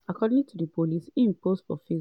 according to di police im post for facebook